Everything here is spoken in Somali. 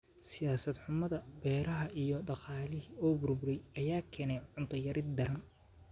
Siyaasad xumada beeraha iyo dhaqaalihii oo burburay ayaa keenay cunto yari daran.